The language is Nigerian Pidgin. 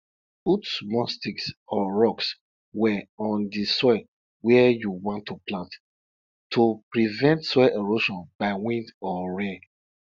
children dey laugh loudly whenever dey hear de monkey tale monkey tale wey be about stealing de yam wey be for king